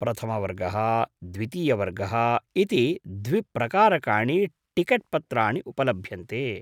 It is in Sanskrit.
प्रथमवर्गः द्वितीयवर्गः इति द्विप्रकारकाणि टिकेट्पत्राणि उपलभ्यन्ते।